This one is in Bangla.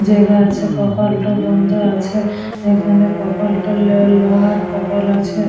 জায়গা আছে। কপালটা বন্ধ আছে। এখানে কপালটা ল লোহার কপাল আছে।